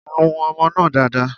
Nu ọmọ náà dáadáa.